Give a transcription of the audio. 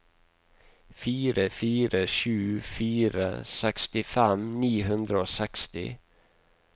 fire fire sju fire sekstifem ni hundre og seksti